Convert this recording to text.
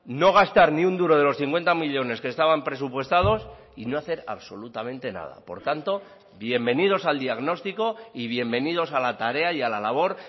no gastar ni un duro de los cincuenta millónes que estaban presupuestados y no hacer absolutamente nada por tanto bienvenidos al diagnóstico y bienvenidos a la tarea y a la labor